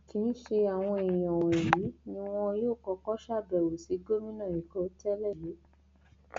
kì í ṣe àwọn èèyàn wọnyí ni wọn yóò kọkọ ṣàbẹwò sí gómìnà ẹkọ tẹlẹ yìí